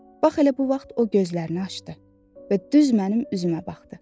Bax elə bu vaxt o gözlərini açdı və düz mənim üzümə baxdı.